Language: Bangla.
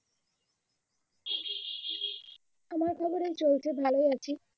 আমার খবর এই চলছে ভালোই আছি.